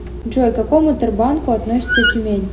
джой к какому тербанку относится тюмень